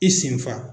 I senfa